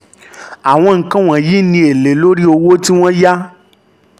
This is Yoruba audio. àwọn nǹkan wọ̀nyí ni èlé lórí owó tí wọ́n yá